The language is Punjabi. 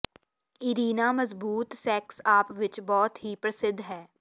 ਇਰੀਨਾ ਮਜ਼ਬੂਤ ਸੈਕਸ ਆਪਸ ਵਿੱਚ ਬਹੁਤ ਹੀ ਪ੍ਰਸਿੱਧ ਹੈ